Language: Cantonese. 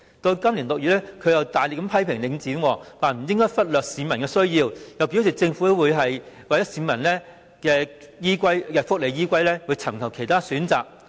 到了今年6月，他又大力批評領展不應忽略市民的需要，又表示政府會以市民的福利為依歸而尋求其他選擇。